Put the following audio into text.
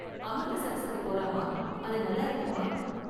அமிர்தசரஸுக்கு போலாமா? அது நல்லா இருக்குமா?